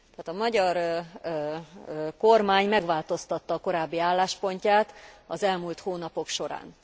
A magyar kormány megváltoztatta a korábbi álláspontját az elmúlt hónapok során.